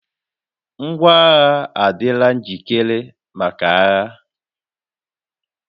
Ngwaagha ahụ adịla njikere maka agha